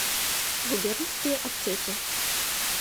губернские аптеки